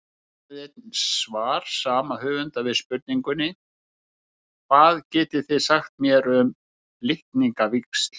Skoðið einnig svar sama höfundar við spurningunni Hvað getið þið sagt mér um litningavíxl?